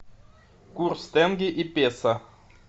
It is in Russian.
курс тенге и песо